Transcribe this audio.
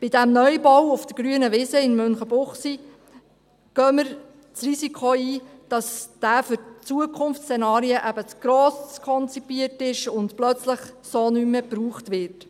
Bei diesem Neubau auf der grünen Wiese in Münchenbuchsee gehen wir das Risiko ein, dass er für Zukunftsszenarien eben zu gross konzipiert ist und plötzlich so nicht mehr gebraucht wird.